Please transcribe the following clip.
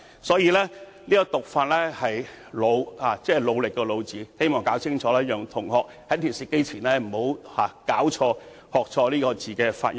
所以，"弩"的讀音是"努"，我希望搞清楚，以免在電視機前收看的同學搞錯這個字的發音。